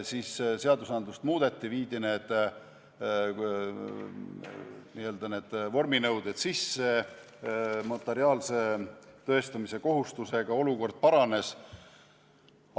Siis seadusi muudeti, viidi need vorminõuded sisse, notariaalse tõestamise kohustusega olukord paranes.